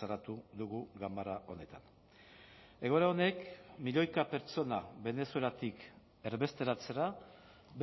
salatu dugu ganbara honetan egoera honek milioika pertsona venezuelatik erbesteratzera